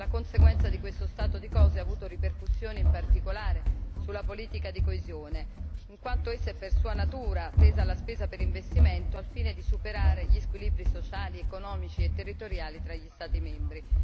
La conseguenza di questo stato di cose ha avuto ripercussioni in particolare sulla politica di coesione, in quanto essa è per sua natura tesa alla spesa per investimento al fine di superare gli squilibri sociali, economici e territoriali tra gli Stati membri.